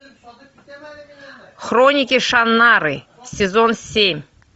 хроники шаннары сезон семь